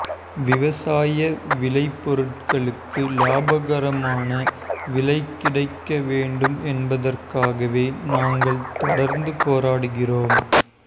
விவசாய விளைபொருட்களுக்கு லாபகரமான விலை கிடைக்க வேண்டும் என்பதற்காகவே நாங்கள் தொடர்ந்து போராடுகிறோம்